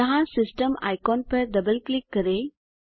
यहाँ system icon पर double click करें